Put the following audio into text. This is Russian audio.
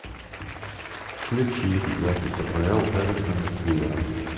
включи запись апл эвертона с ливером